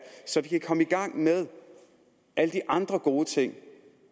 så vi kan komme i gang med alle de andre gode ting